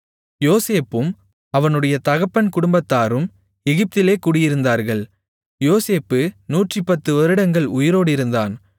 யோசேப்பும் அவனுடைய தகப்பன் குடும்பத்தாரும் எகிப்திலே குடியிருந்தார்கள் யோசேப்பு 110 வருடங்கள் உயிரோடிருந்தான்